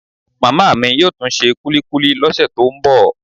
Màmá mi yóò tún se kulikuli lọ́sẹ̀ tó ń bọ̀